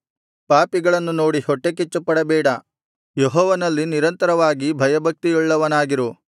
ಪಾಪಿಗಳನ್ನು ನೋಡಿ ಹೊಟ್ಟೆಕಿಚ್ಚುಪಡಬೇಡ ಯೆಹೋವನಲ್ಲಿ ನಿರಂತರವಾಗಿ ಭಯಭಕ್ತಿಯುಳ್ಳವನಾಗಿರು